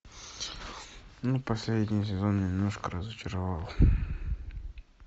ну последний сезон немножко разочаровал